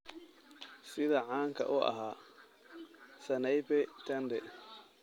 sida caanka u ahaa sanaipei tande